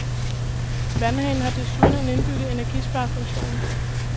Vandhanen har desuden en indbygget energisparefunktion.